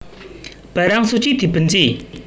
Barang suci dibenci